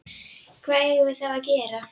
Hvað eigum við þá að gera?